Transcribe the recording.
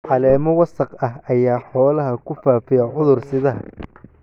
Caleemo wasakh ah ayaa xoolaha ku faafiya cudur-sidaha.